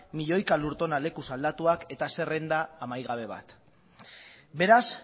milioika lur tona lekuz aldatuak eta zerrenda amaigabe bat beraz